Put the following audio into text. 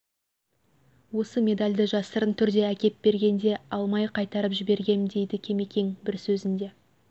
осы медальді жасырын түрде әкеп бергенде алмай қайтарып жібергем дейді кемекең бір сөзінде